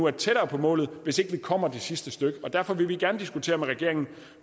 er tættere på målet hvis ikke man kommer det sidste stykke og derfor vil vi gerne diskutere med regeringen